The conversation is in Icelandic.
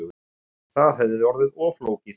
Það hefði orðið of flókið